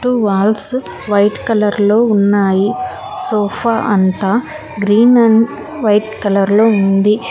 Walls white colour లో ఉన్నాయి sofa అంతా గ్రీన్ అండ్ వైట్ కలర్ లో ఉంది.